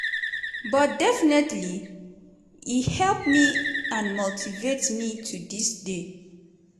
but definitely e help me and motivate me to dis day."